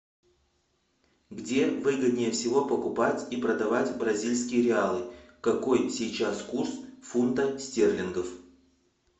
где выгоднее всего покупать и продавать бразильские реалы какой сейчас курс фунта стерлингов